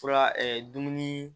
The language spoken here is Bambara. Fura dumuni